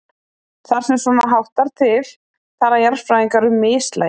Þar sem svona háttar til tala jarðfræðingar um mislægi.